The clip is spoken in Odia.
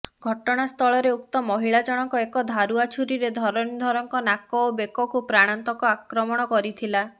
ଘଟଣାସ୍ଥଳରେ ଉକ୍ତ ମହିଳା ଜଣକ ଏକ ଧାରୁଆ ଛୁରିରେ ଧରଣୀଧରଙ୍କ ନାକ ଓ ବେକକୁ ପ୍ରାଣାନ୍ତକ ଆକ୍ରମଣ କରିଥିଲା